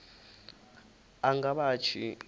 a nga vha a tshi